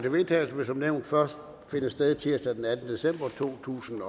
vedtagelse vil som nævnt først finde sted tirsdag den attende december totusinde